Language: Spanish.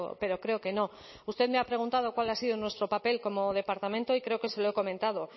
pero creo que no usted me ha preguntado cuál ha sido nuestro papel como departamento y creo que se lo he comentado